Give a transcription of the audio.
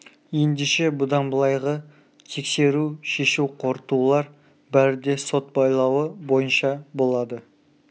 ендеше бұдан былайғы тексеру шешу қорытулар бәрі де сот байлауы бойынша болады